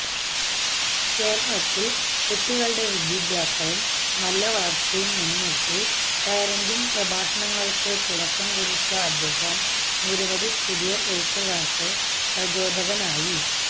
കേരളത്തിൽ കുട്ടികളുടെ വിദ്യാഭ്യാസവും നല്ല വളർച്ചയും മുൻനിർത്തി പാരന്റിങ് പ്രഭാഷണങ്ങൾക്ക് തുടക്കം കുറിച്ച അദ്ദേഹം നിരവധി പുതിയ എഴുത്തുകാർക്ക് പ്രചോദകനായി